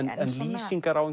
lýsingar á